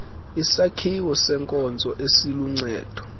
isakhiwo senkonzo eziluncedo